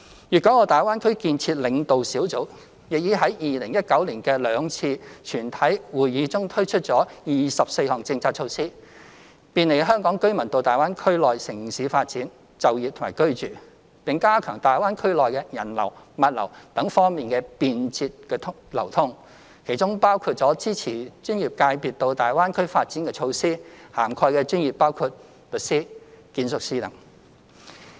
粵港澳大灣區建設領導小組亦已在2019年的兩次全體會議中推出共24項政策措施，便利香港居民到大灣區內地城市發展、就業和居住，並加強大灣區內人流、物流等方面的便捷流通，其中包括支持專業界別到大灣區發展的措施，涵蓋的專業包括律師、建築業等。